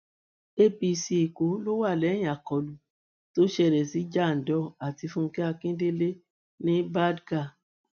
apc èkó ló wà lẹyìn àkọlù tó ṣẹlẹ sí jandor àti fúnkẹ akíndélé ní badág